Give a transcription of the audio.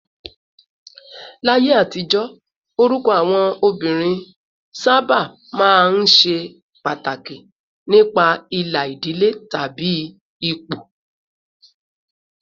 Láyé àtijọ́, orúkọ àwọn obìnrin sábà máa ń ṣe pàtàkì nípa ìlà ìdílé tàbí ipò